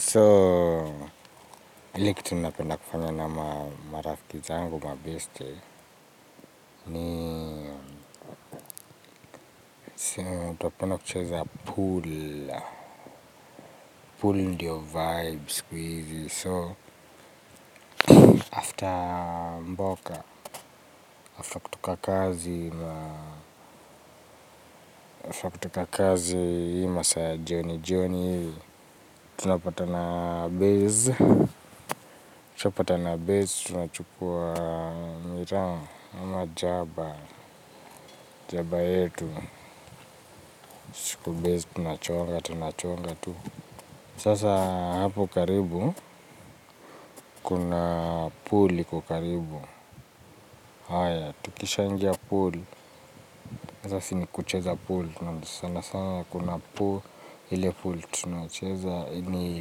So, ile kitu napenda kufanya na marafiki zangu mabeste ni siu, tunapenda kucheza pool pool ndio vibe sikuizi so, after mboka after kutoka kazi za after kutoka kazi ima saya jioni jioni tunapata na base tunapata na base tunachukua miraa, ama jaba, jaba yetu, kubezi tunachonga, tunachonga tu. Sasa hapo karibu, kuna pool iko karibu. Haya, tukisha ingia pool, sasa si ni kucheza pool, tunasana sana kuna pool, ile pool tunaucheza, ni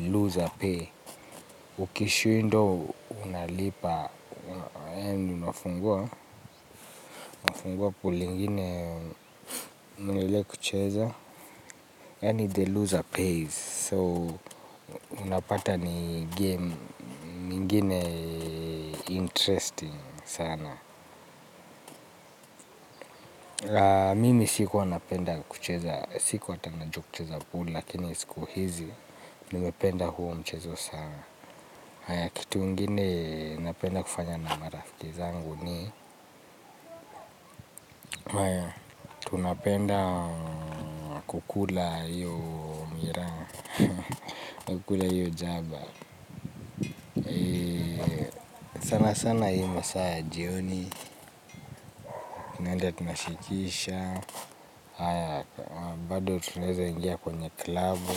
loser pay. Ukishindwa unalipa, yaani unafungua, unafungua pool ingine mwendelee kucheza yaani the loser pays so unapata ni game mingine interesting sana la mimi siku wana penda kucheza siku hatana jua kucheza pool lakini siku hizi nimependa huo mchezo sana haya kitu ingine napenda kufanya na marafiki zangu ni haya tunapenda kukula hiyo miraa. Kukula hiyo jaba. Sana sana hii masaa ya jioni. Naenda tunashikisha. Bado tunaeza ingia kwenye klabu.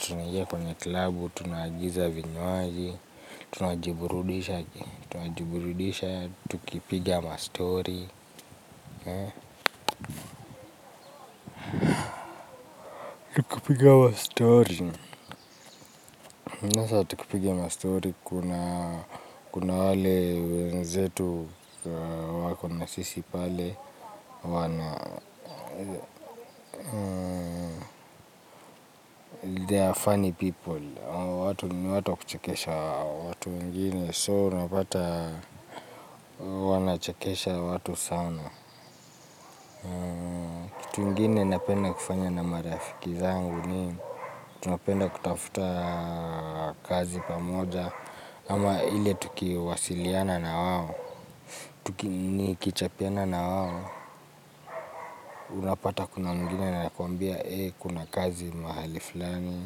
Tuna ingia kwenye klabu. Tunaagiza vinywaji. Tuna jiburudisha. Tuna jiburudisha. Tukipiga ma story. Kupiga ma story. Kuna wale wenzetu wako nasisi pale. Wana they are funny people ni watu wa kuchekesha watu wengine soo unapata wanachekesha watu sana kitu ingine napenda kufanya na marafiki zangu ni tunapenda kutafuta kazi pamoja ama ile tukiwasiliana na wao ni kichapiana na wao unapata kuna mwingine anakuambia kuna kazi mahali fulani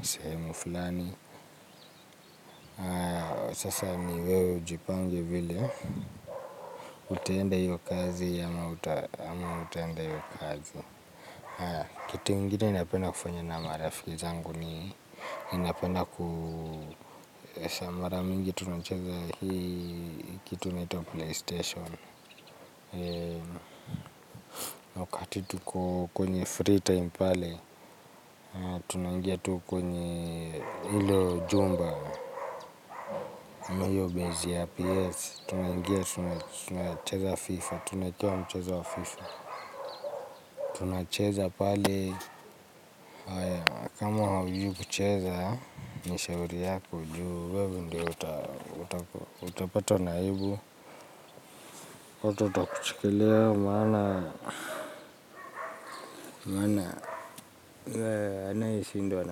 msehemu fulani. Sasa ni wewe ujipange vile, utaenda hiyo kazi ama utaenda hiyo kazi. Kitu ingine napenda kufanya na marafiki zangu ni ninapenda kusamara mingi tunacheza hii kitu inaitwa playstation. Wakati tukwenye free time pale, tunaingia tu kwenye hilo jumba na hiyo bezi ya PS. Tunaingia, tunacheza wa FIFA, tunacheza wa FIFA. Tunacheza pale. Kama haujui kucheza, ni shauri yako, juu. Wewe ndo utapata na aibu. Watu watakuchekelea. Maana. Mwana. Maana. Anayeshindwa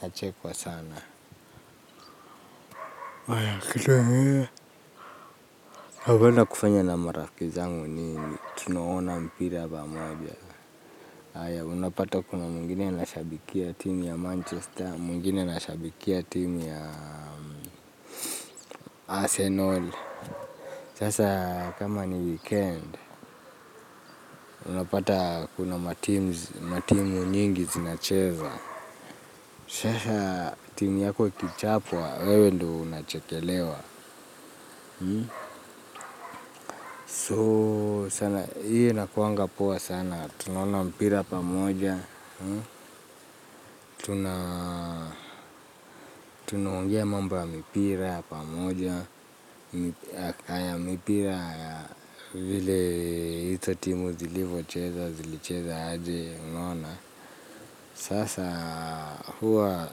anachekwa sana. Napenda kufanya na marafikizangu. Tunaona mpira pamoja. Aya, unapata kuna mwingine ana shabikia timu ya Manchester, mwingine ana shabikia timu ya Arsenal. Sasa, kama ni weekend, unapata kuna matimu nyingi zinacheza. Sasa, timu yako ikichapwa, wewe ndo unachekelewa. So, sana, hiyo inakuanga poa sana. Tunaona mpira pamoja. Tunaongea mambo ya mipira pamoja. Haya mipira ya vile hizo timu zilivo cheza, zilicheza aje unaona. Sasa huwa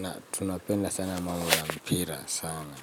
na tunapenda sana mambo ya mipira sana.